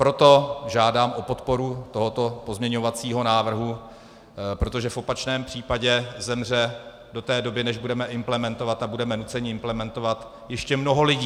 Proto žádám o podporu tohoto pozměňovacího návrhu, protože v opačném případě zemře do té doby, než budeme implementovat, a budeme nuceni implementovat, ještě mnoho lidí.